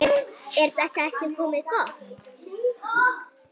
Er þetta ekki komið gott?